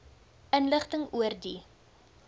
inligting oor die